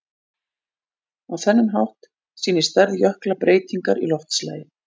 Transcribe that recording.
Á þennan hátt sýnir stærð jökla breytingar í loftslagi.